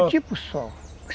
É um tipo só.